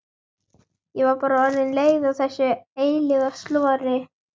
Ég var bara orðin leið á þessu eilífa slori.